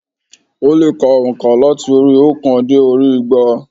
Ó lè ka ònkà láti orí i óòkan dé orí i igba